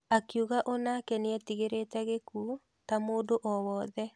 Akiuga onake nĩetigĩrĩte gĩkuũ ta mũndũ owothe.